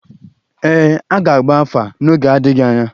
Ee, a ga-agba afa n’oge adịghị anya